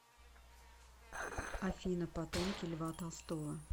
афина потомки льва толстого